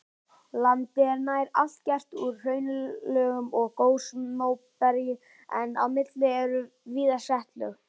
Landið er nær allt gert úr hraunlögum og gosmóbergi en á milli eru víða setlög.